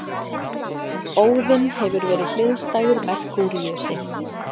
Óðinn hefur verið hliðstæður Merkúríusi.